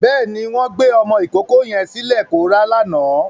Bẹ́ẹ̀ni, wọ́n gbé ọmọ ìkókó yẹn sílẹ̀ kó rá lánàá.